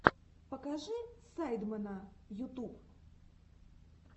покажи сайдмена ютуб